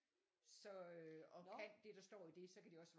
Så øh og kan det der står i det så kan de også svare